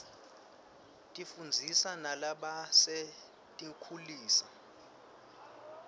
tifundzisa nalabasetinkhulisa